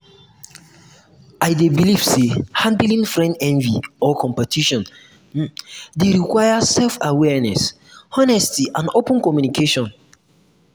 i dey believe say handling friend envy or competition dey um require self-awareness honesty and open communication.